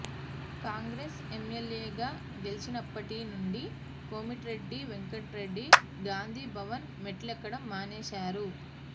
కాంగ్రెస్ ఎమ్మెల్యేగా గెలిచినప్పటి నుండి కోమటిరెడ్డి వెంకట్రెడ్డి గాంధీ భవన్ మెట్లెక్కడం మానేశారు